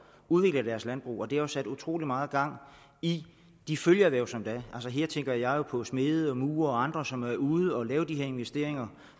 udvikle deres landbrug og det har sat utrolig meget gang i de følgeerhverv som der er her tænker jeg jo på smede murere og andre som er ude at lave de her investeringer